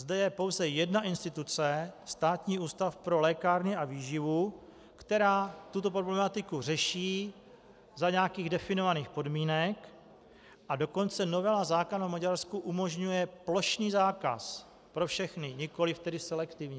Zde je pouze jedna instituce, Státní ústav pro lékárny a výživu, která tuto problematiku řeší za nějakých definovaných podmínek, a dokonce novela zákona v Maďarsku umožňuje plošný zákaz pro všechny, nikoliv tedy selektivní.